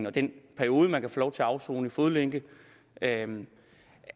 og den periode man kan få lov til at afsone i fodlænke